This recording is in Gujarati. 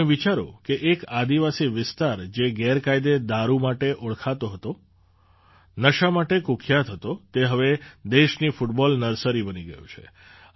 તમે વિચારો કે એક આદિવાસી વિસ્તાર જે ગેરકાયદે દારૂ માટે ઓળખાતો હતો નશા માટે કુખ્યાત હતો તે હવે દેશની ફૂટબૉલ નર્સરી બની ગયો છે